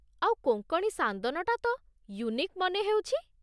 ଆଉ କୋଙ୍କଣୀ ସାନ୍ଦନଟା ତ ୟୁନିକ୍ ମନେ ହେଉଛି ।